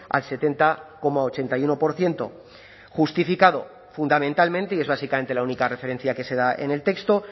al setenta coma ochenta y uno por ciento justificado fundamentalmente y es básicamente la única referencia que se da en el texto